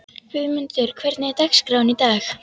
Guðmunda, hvernig er dagskráin í dag?